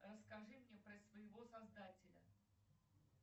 расскажи мне про своего создателя